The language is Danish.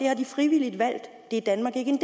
har de frivilligt valgt det er danmark ikke en